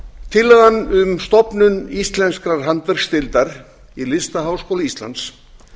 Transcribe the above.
tillagan um stofnun íslenskrar handverksdeildar í listaháskóla íslands